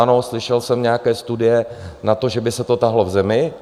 Ano, slyšel jsem nějaké studie na to, že by se to táhlo v zemi.